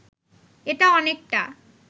এটা অনেকটা